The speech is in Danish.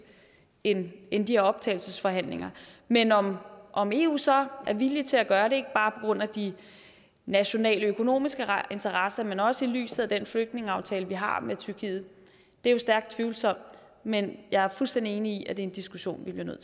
end end de her optagelsesforhandlinger men om om eu så er villige til at gøre det ikke bare på grund af de nationaløkonomiske interesser men også set i lyset af den flygtningeaftale vi har med tyrkiet er jo stærkt tvivlsomt men jeg er fuldstændig enig i at det er en diskussion vi bliver nødt